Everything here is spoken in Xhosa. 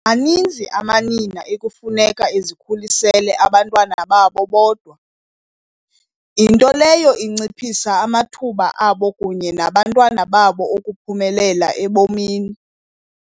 Maninzi amanina ekufuneka ezikhulisele abantwana babo bodwa, into leyo inciphisa amathuba abo kunye nawabantwana babo okuphumelela ebomini.